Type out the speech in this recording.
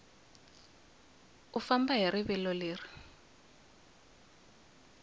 u famba hi rivilo leri